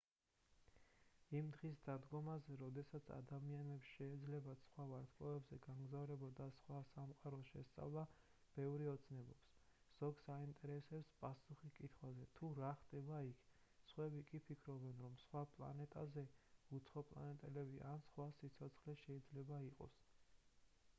იმ დღის დადგომაზე როდესაც ადამიანებს შეეძლებათ სხვა ვარსკვლავებზე გამგზავრება და სხვა სამყაროების შესწავლა ბევრი ოცნებობს ზოგს აინტერესებს პასუხი კითხვაზე თუ რა ხდება იქ სხვები კი ფიქრობენ რომ სხვა პლანეტაზე უცხოპლანეტელები ან სხვა სიცოცხლე შეიძლება იყოს